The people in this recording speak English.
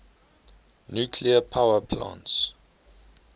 nuclear power plants